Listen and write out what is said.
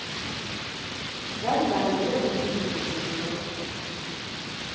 Dermed er det grønt lys for å sette i gang.